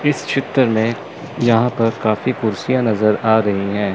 इस चित्र में यहां पर काफी कुर्सियां नजर आ रही है।